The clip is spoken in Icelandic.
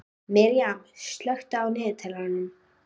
Miriam, slökktu á niðurteljaranum.